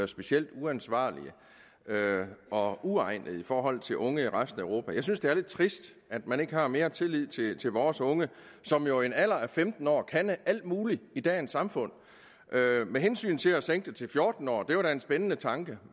specielt uansvarlige og uegnede i forhold til unge i resten af europa jeg synes det er lidt trist at man ikke har mere tillid tillid til vores unge som jo i en alder af femten år kan alt muligt i dagens samfund med hensyn til at sænke det til fjorten år er det en spændende tanke